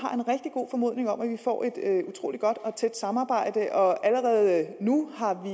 god formodning om at vi får et utrolig godt og tæt samarbejde og allerede nu har vi